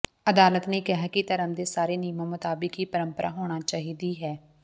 ਅਦਾਲਤ ਨੇ ਕਿਹਾ ਕਿ ਧਰਮ ਦੇ ਸਾਰੇ ਨਿਯਮਾਂ ਮੁਤਾਬਕ ਹੀ ਪਰੰਪਰਾ ਹੋਣਾ ਚਾਹੀਦੀ ਹੈ